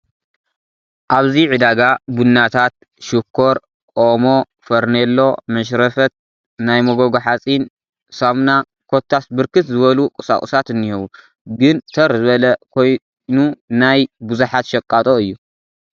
ኣብዚ ፅዳጋ ቡናታት፣ ሽኮር ፣ ኦሞ፣ ፈርኔሎ፣ መሽረፈት፣ ናይ መጎጎ ሓፂን፣ ሳሙና ኾታስ ብርክት ዝመሉ ቑሳቑሳት እንሄዉ ፡ ግን ተር ዝበለ ኽይኑናይ ብዙሓት ሸቓጦ እዩ ።